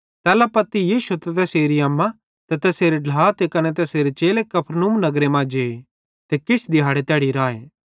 तैल्ला पत्ती यीशु त तैरेरी अम्मा ते तैसेरे ढ्ला ते कने तैसेरे चेले कफरनहूम नगरे मां जे ते किछ दिहाड़े तैड़ी राए